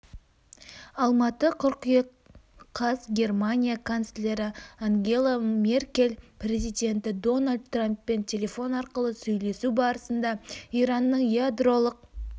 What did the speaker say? алматы қыркүйек қаз германия канцлері ангела меркель президенті дональд трамппен телефон арқылы сөйлесу барысында иранның ядролық